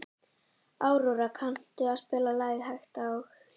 Aurora, kanntu að spila lagið „Hægt og hljótt“?